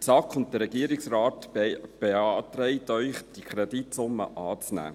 Die SAK und der Regierungsrat beantragen Ihnen, die Kreditsumme anzunehmen.